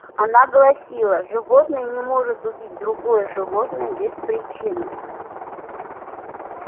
она гласила животное не может убить другое животное без причины